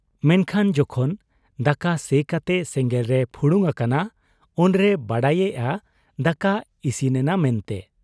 ᱢᱮᱱᱠᱷᱟᱱ ᱡᱚᱠᱷᱚᱱ ᱫᱟᱠᱟ ᱥᱮ ᱠᱟᱛᱮ ᱥᱮᱸᱜᱮᱞᱨᱮ ᱯᱷᱩᱲᱩᱝ ᱟᱠᱟᱱᱟ, ᱩᱱᱨᱮᱭ ᱵᱟᱰᱟᱭᱮᱜ ᱟ ᱫᱟᱠᱟ ᱤᱥᱤᱱᱮᱱᱟ ᱢᱮᱱᱛᱮ ᱾